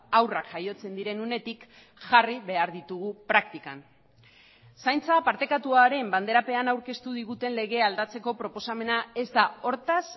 haurrak jaiotzen diren unetik jarri behar ditugu praktikan zaintza partekatuaren banderapean aurkeztu diguten legea aldatzeko proposamena ez da hortaz